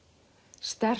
sterk